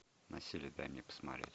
насилие дай мне посмотреть